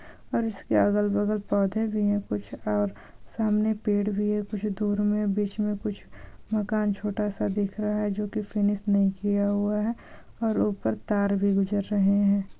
और इसके अगल बगल पौधे भी है कुछ और सामने पेड़ भी है कुछ दूर मे बीच मे कुछ मकान छोटा सा दिख रहा है जो की फिनिश नहीं किया हुआ है और ऊपर तार भी गुजर रहे है।